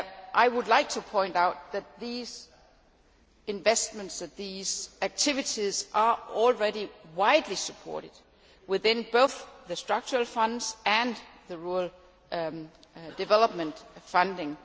I would like to point out that these investments and activities are already widely supported within both the structural funds and the rural development funding.